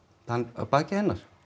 að baki hennar